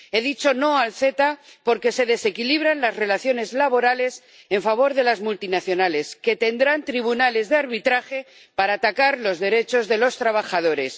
He dicho no al CETA porque se desequilibran las relaciones laborales en favor de las multinacionales, que tendrán tribunales de arbitraje para atacar los derechos de los trabajadores.